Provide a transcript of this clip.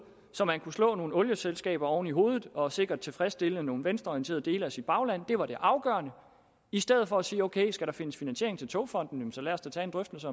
så man kunne slå nogle olieselskaber oven i hovedet og sikkert tilfredsstille nogle venstreorienterede dele af sit bagland det var det afgørende i stedet for at sige at ok skal der findes finansiering til togfonden så lad os da tage en drøftelse